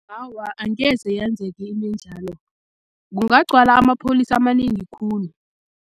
Awa, angeze yenzeke into enjalo, kungagcwala amapholisa amanengi khulu.